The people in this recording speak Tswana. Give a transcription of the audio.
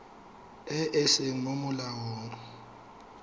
e e seng mo molaong